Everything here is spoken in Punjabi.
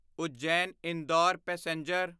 ਉੱਜੈਨ ਇੰਦੌਰ ਪੈਸੇਂਜਰ